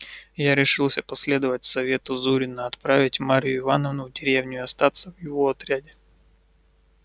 я решился последовать совету зурина отправить марью ивановну в деревню и остаться в его отряде